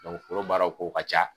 foro baaraw kow ka ca.